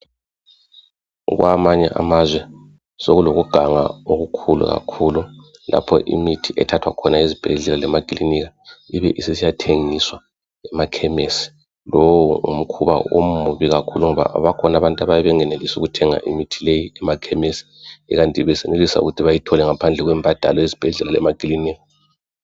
Kwamanye amazwe, sokulokuganga okukhulu kakhulu. Lapho imithi ethathwa khona ezibhedlela lemakilinika ibe isisiyathengiswa emakhemesi. Lowo ngumkhuba omubi kakhulu ngoba bakhona abantu abayabe bengenelisi ukuthenga imithi leyi emakhemesi ikanti besenelisa ukuthi bayithole ngaphandle kwembadalo ezibhedlela lemakilinika.